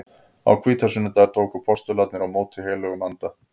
Á hvítasunnudag tóku postularnir á móti heilögum anda.